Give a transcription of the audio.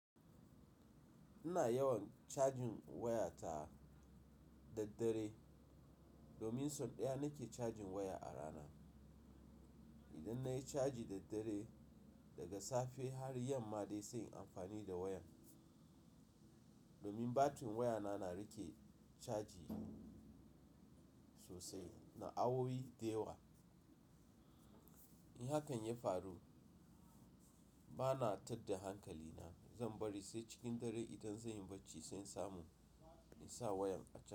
Ina yawan cajin wayata, daddare domin sau ɗaya nake cajin waya a rana. Idan nayi caji daddare, daga safe har yamma dai sai in amfani da wayan domin batirin wayana na rike caji sosai, na awowi da yawa. In hakan ya faru, bana tadda hankalina, zan bari sai cikin dare idan zenyi bacci sai samu, in sa wayan a ca,